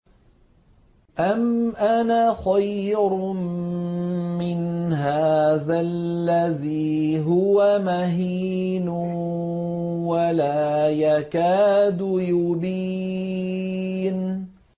أَمْ أَنَا خَيْرٌ مِّنْ هَٰذَا الَّذِي هُوَ مَهِينٌ وَلَا يَكَادُ يُبِينُ